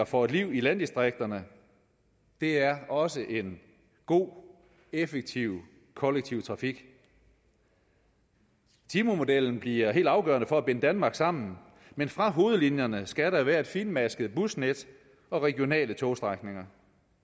for et liv i landdistrikterne er også en god effektiv kollektiv trafik timemodellen bliver helt afgørende for at binde danmark sammen men fra hovedlinjerne skal der være et finmasket busnet og regionale togstrækninger